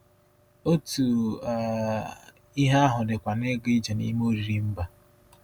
Otu um ihe ahụ dịkwa na ịga ije n’ime oriri mba.